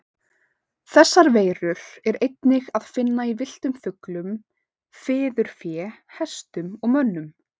Þessar veirur er einnig að finna í villtum fuglum, fiðurfé, hestum og mönnum.